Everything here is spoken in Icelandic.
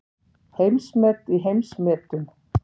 Heimsmet í heimsmetum